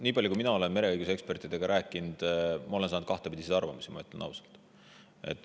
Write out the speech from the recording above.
Nii palju, kui mina olen mereõiguse ekspertidega rääkinud, ma olen neilt kuulnud kahtepidi arvamusi, ütlen ausalt.